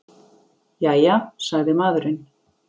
Jæja, sagði maðurinn.